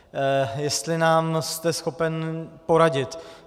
Jestli nám jste schopen poradit.